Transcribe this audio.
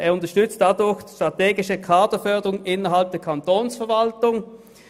Dadurch unterstützt er die strategische Kaderförderung innerhalb der Kantonsverwaltung.